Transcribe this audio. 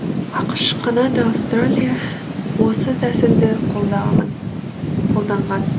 ақш канада аустралия осы тәсілді қолданған